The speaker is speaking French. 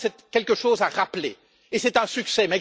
Je crois que c'est quelque chose à rappeler et c'est un succès.